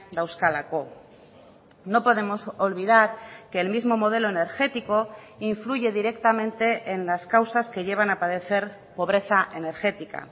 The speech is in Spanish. dauzkalako no podemos olvidar que el mismo modelo energético influye directamente en las causas que llevan a padecer pobreza energética